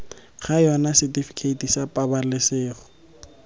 ga yona setifikeiti sa pabalesego